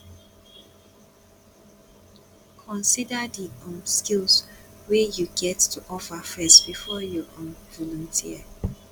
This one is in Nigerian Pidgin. consider di um skills wey you get to offer first before you um volunteer